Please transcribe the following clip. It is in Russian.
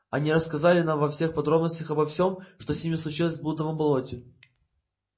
они рассказали нам во всех подробностях обо всём что с ними случилось в блудовом болоте